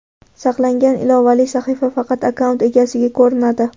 Saqlangan ilovali sahifa faqat akkaunt egasiga ko‘rinadi.